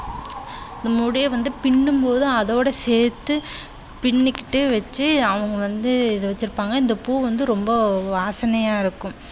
இந்த முடியை பின்னும்போது அதோட சேர்த்து பின்னிக்கிட்டு வச்சு அவங்க வந்து இதை வச்சுப்பாங்க. இந்த பூ வந்து ரொம்ப வாசனையா இருக்கும்.